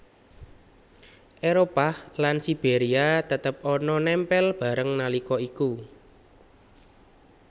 Éropah lan Siberia tetep ana nempel bareng nalika iku